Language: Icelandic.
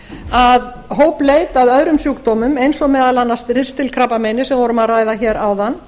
að hópleit að öðrum sjúkdómum eins og meðal annars ristilkrabbameini sem við vorum að ræða hér áðan